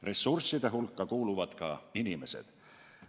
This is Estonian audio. Ressursside hulka kuuluvad ka inimesed.